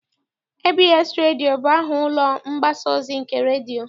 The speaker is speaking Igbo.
ABS redio bụ aha ụlọ mgbasa ozi nke redio.